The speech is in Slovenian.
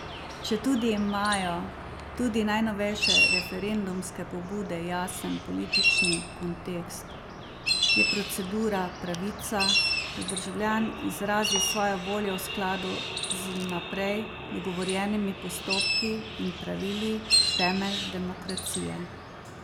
Četudi imajo tudi najnovejše referendumske pobude jasen politični kontekst, je procedura, pravica, da državljan izrazi svojo voljo v skladu z vnaprej dogovorjenimi postopki in pravili, temelj demokracije.